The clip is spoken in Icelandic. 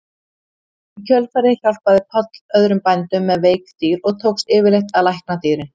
Í kjölfarið hjálpaði Páll öðrum bændum með veik dýr og tókst yfirleitt að lækna dýrin.